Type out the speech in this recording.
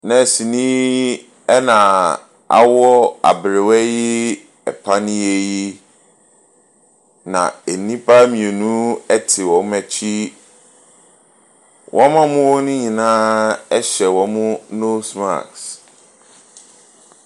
Nɛɛseni yi na awɔ aberewa yi panneɛ yi, na nnipa mmienu te wɔn akyi. Wɔn a wɔwɔ hɔ no nyinaa hyɛ wɔn nose mask.